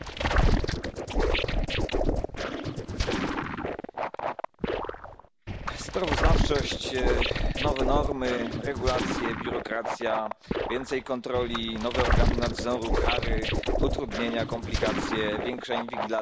Panie Przewodniczący! Sprawozdawczość, nowe normy, regulacje, biurokracja, więcej kontroli, nowe organy nadzoru, kary, utrudnienia, komplikacje, większa inwigilacja to wszystko znajdujemy w tym nowym sprawozdaniu o nadzorze rynku